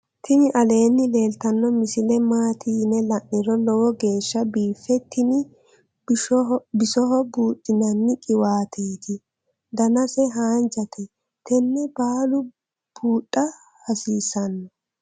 tini aleenni leeltannno misile maati yine la'niro lowo geeshsa biife tini bisoho buudhdhinanni qiwaateetti danase haanjate tenne baalu buudha hasiissanno